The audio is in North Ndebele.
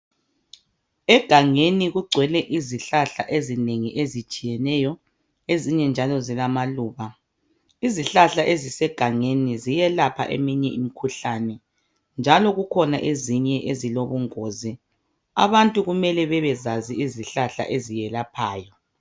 Egangeni kugcwele izihlahla ezinengi ezitshiyeneyo, ezinye njalo zilamaluba. Izihlahla ezisegangeni ziyelapha eminye imikhuhlane. Njalo zikhona ezinye ezilobungozi. Abantu kumele babezazi izihlahla ezelapgayo.